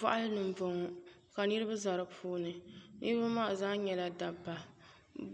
Boɣali ni n boŋo ka niraba ʒɛ di puuni niraba maa zaa nyɛla dabba